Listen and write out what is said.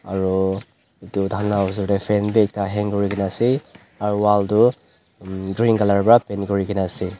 aro edu tahan la osor tae fan bi ekta hang kurikaena ase aro wall toh green colour pra paint kurikaena ase.